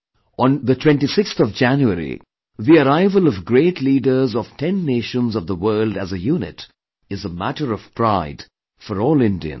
On 26th January the arrival of great leaders of 10 nations of the world as a unit is a matter of pride for all Indians